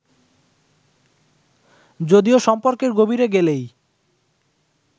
যদিও সম্পর্কের গভীরে গেলেই